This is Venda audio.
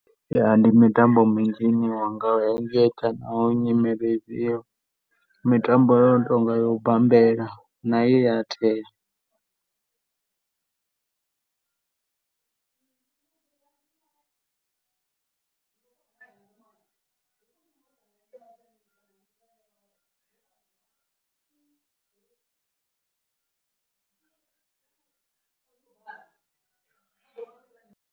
Ya, ndi mitambo minzhi ine mitambo i no tonga ya u bambela na ye ya .